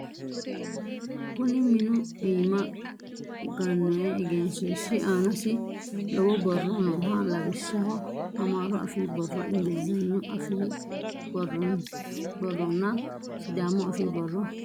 Kuni minu iima gannoyi egensiishshi aanasi lowo borro nooho. Lawishshaho amaaru afii borro, ingilizagnu afii borronna sidaamu afii borro borreessinoyi.